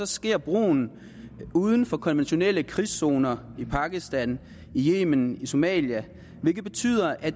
sker brugen uden for konventionelle krigszoner i pakistan i yemen i somalia hvilket betyder at